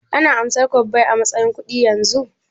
Ana amsar kwabbai matsayin kuɗi yanzu?